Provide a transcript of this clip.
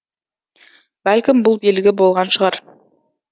бәлкім бұл белгі болған шығар